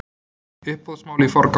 Uppboðsmál í forgang